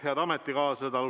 Head ametikaaslased!